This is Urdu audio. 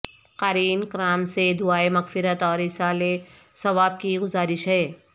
قارئین کرام سے دعائے مغفرت اور ایصال ثواب کی گزارش ہے